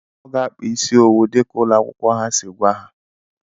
Ọ gá-akpà isi owu dika ụlọ akwụkwọ ha sị gwa ha